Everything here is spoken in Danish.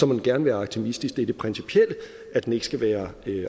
den gerne være aktivistisk det går på det principielle i at den ikke skal være